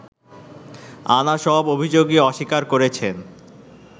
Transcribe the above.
আনা সব অভিযোগই অস্বীকার করেছেন